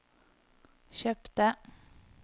kjøpte